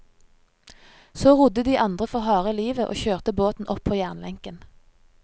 Så rodde de andre for harde livet og kjørte båten opp på jernlenken.